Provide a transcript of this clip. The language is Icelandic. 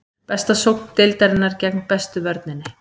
Besta sókn deildarinnar gegn bestu vörninni.